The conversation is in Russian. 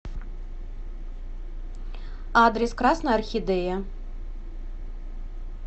адрес красная орхидея